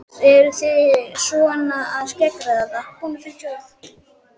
Jóhannes: Eruð þið svona að skeggræða það?